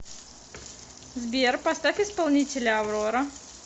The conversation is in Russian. сбер поставь исполнителя аврора